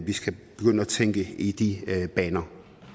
vi skal begynde at tænke i de baner